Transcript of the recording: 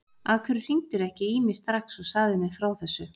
Af hverju hringdirðu ekki í mig strax og sagðir mér frá þessu?